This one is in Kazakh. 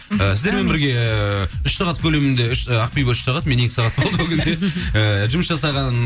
ы сіздермен бірге үш сағат көлемінде үш і ақбибі үш сағат мен екі сағат ыыы жұмыс жасаған